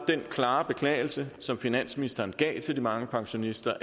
den klare beklagelse som finansministeren gav til de mange pensionister